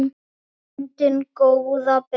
grundin góða ber